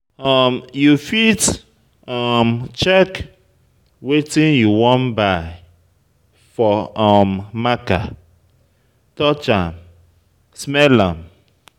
um You fit um check wetin you wan buy for um marker, touch am, smell am